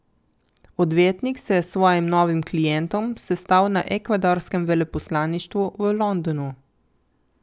Odvetnik se je s svojim novim klientom sestal na ekvadorskem veleposlaništvu v Londonu.